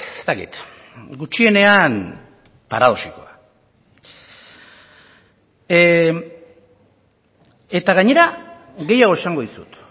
ez dakit gutxienean paradoxikoa eta gainera gehiago esango dizut